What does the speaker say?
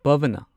ꯄꯚꯅꯥ